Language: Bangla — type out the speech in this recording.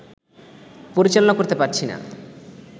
পরিচালনা করতে পারছি না